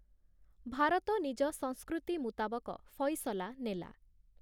ଭାରତ ନିଜ ସଂସ୍କୃତି ମୁତାବକ ଫଇସଲା ନେଲା ।